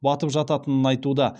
батып жататынын айтуда